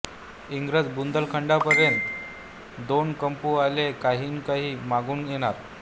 इंग्रज बुंदेलखंडापर्यंत दोन कंपू आले आणिकही मागून येणार